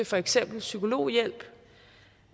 for eksempel psykologhjælp